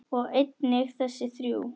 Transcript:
og einnig þessi þrjú